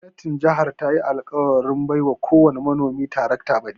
Gwamnatin jihar tayi alkawarin ba kowani manomi tarakta baɗi.